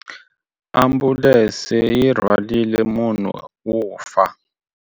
Ambulense yi rhwarile munhu wo fa.